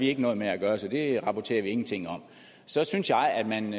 ikke noget med at gøre så det rapporterer man ingenting om så synes jeg at man